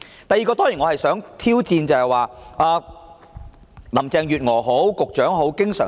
第二，我當然想挑戰林鄭月娥或局長的言論。